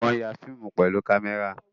Wọ́n ya fíìmù pẹ̀lú kámẹ́rà